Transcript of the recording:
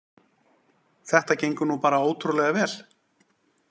Þetta gengur nú bara ótrúlega vel